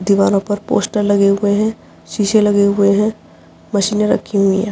दीवारों पर पोस्टर लगे हुए हैं। शीशे लगे हुए हैं। मशीने रखी हुई है।